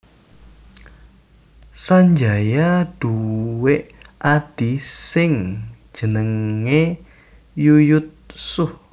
Sanjaya duwé adhi sing jenenge Yuyutsuh